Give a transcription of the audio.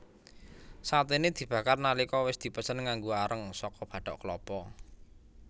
Saténé dibakar nalika wis dipesen nganggo areng saka bathok klapa